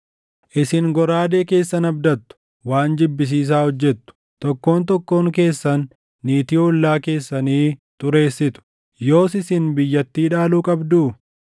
Isin goraadee keessan abdattu; waan jibbisiisaa hojjettu; tokkoon tokkoon keessan niitii ollaa keessanii xureessitu. Yoos isin biyyattii dhaaluu qabduu?’